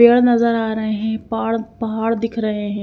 पेड़ नजर आ रहे हैं पहाड़ पहाड़ दिख रहे हैं।